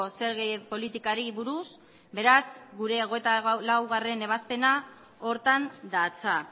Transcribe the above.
zerga politikari buruz beraz gure hogeita laugarrena ebazpena horretan datza